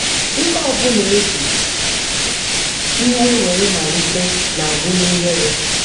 Ihe ọbụla e ji iwe were malite na-agwụ n'ihere.